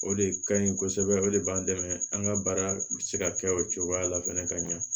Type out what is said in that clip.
O de ka ɲi kosɛbɛ o de b'an dɛmɛ an ka baara bɛ se ka kɛ o cogoya la fɛnɛ ka ɲɛ